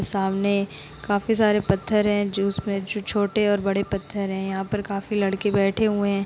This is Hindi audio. सामने काफी सारे पत्थर हैं जो उसमें जो छोटे और बड़े पत्थर है। यहाँ पर काफी लड़के बैठे हुए --